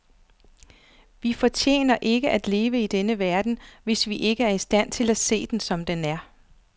Vi fortjener ikke at leve i denne verden, hvis vi ikke er i stand til at se den, som den er.